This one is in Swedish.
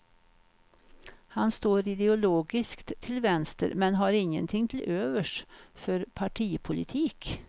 Han står ideologiskt till vänster men han ingenting till övers för partipolitik.